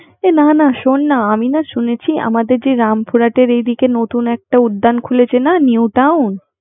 না না শোন না আমি না শুনেছি আমাদের রামপুরাতে এর দিকে নতুন একটা উদ্যান খুলেছে না নিউ টাউন